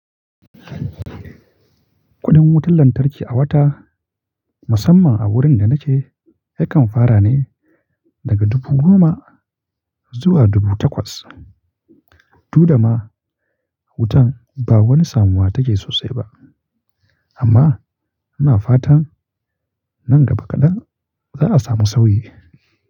Kuɗin wutar lantarki a wata, musamman a wurin da nake yakan fara ne daga dubu goma zuwa dubu takwas. Duk da ma wutan ba wani samuwa take sosai ba amma ana fata nan gaba kaɗan za a samu sauyi.